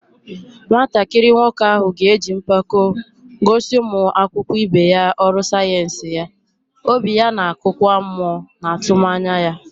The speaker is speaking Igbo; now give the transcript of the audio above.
Nwatakịrị nwoke ahụ ga-eji mpako gosi ụmụ akwụkwọ ibe ya ọrụ sayensị ya, obi ya na-akụkwa mmụọ na atụmanya ya.